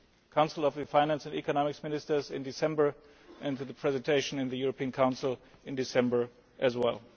Council of the Finance and Economic Ministers in December and to the presentation in the European Council in December as well.